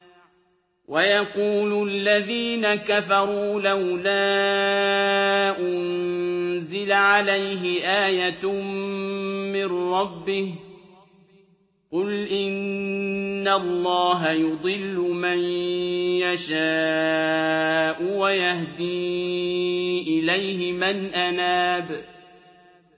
وَيَقُولُ الَّذِينَ كَفَرُوا لَوْلَا أُنزِلَ عَلَيْهِ آيَةٌ مِّن رَّبِّهِ ۗ قُلْ إِنَّ اللَّهَ يُضِلُّ مَن يَشَاءُ وَيَهْدِي إِلَيْهِ مَنْ أَنَابَ